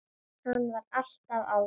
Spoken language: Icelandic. Hann var alltaf á vakt.